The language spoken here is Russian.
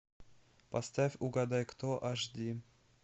поставь угадай кто аш ди